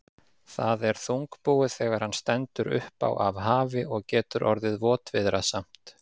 Það er þungbúið þegar hann stendur upp á af hafi og getur orðið votviðrasamt.